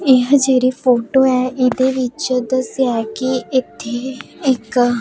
ਇਹ ਜਿਹੜੀ ਫੋਟੋ ਏ ਇਹਦੇ ਵਿੱਚ ਦੱਸਿਆ ਕਿ ਇਥੇ ਇਕ--